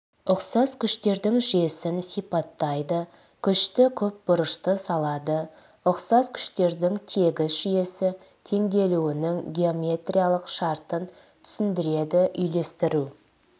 ұқсас күштердің жүйесін сипаттайды күшті көпбұрышты салады ұқсас күштердің тегіс жүйесі теңелуінің геометриялық шартын түсіндіреді үйлестіру